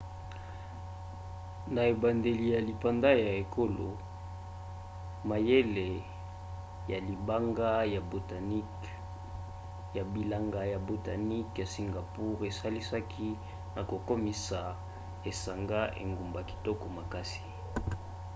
na ebandeli ya lipanda ya ekolo mayele ya bilanga ya botaniques ya singapour esalisaki na kokomisa esanga engumba kitoko ya makasi